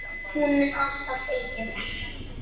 Hún mun alltaf fylgja mér.